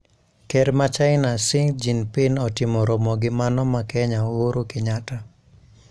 Ker ma China Xi Jinping otimo romo gi mano ma Kenya Uhuru Kenyatta,